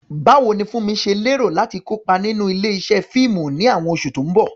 Báwo ni Funmi ṣe lérò láti kópa nínú ilé-iṣẹ́ fíìmù ní àwọn oṣù tó ń bọ̀?